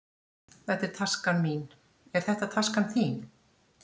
Þetta er taskan mín. Er þetta taskan þín?